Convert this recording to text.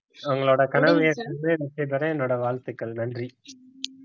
உங்களோட கனவு வெற்றி பெற என்னோட வாழ்த்துக்கள் நன்றி